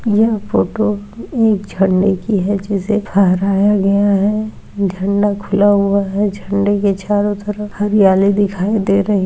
यह फोटो एक झडे की है जिसे फहराया गया है झंडा खुला हुआ है झडे के चारो तरफ हरियाली दिखाई दे रही है।